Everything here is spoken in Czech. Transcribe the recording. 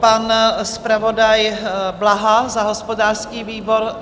Pan zpravodaj Blaha za hospodářský výbor?